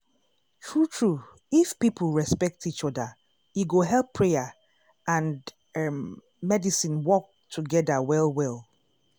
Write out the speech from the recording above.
true true if people respect each oda e go help prayer and errm medicine work togeda well well.